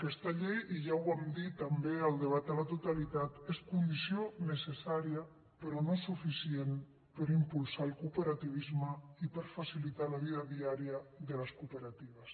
aquesta llei i ja ho vam dir també al debat a la totalitat és condició necessària però no suficient per impulsar el cooperativisme i per facilitar la vida diària de les cooperatives